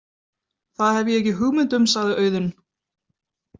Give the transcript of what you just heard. Það hef ég ekki hugmynd um, sagði Auðunn.